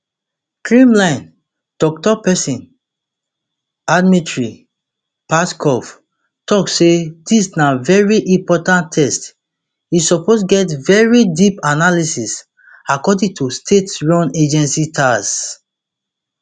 kremlin toktok pesin dmitry peskov tok say dis na very important text e suppose get very deep analysis according to state run agency tass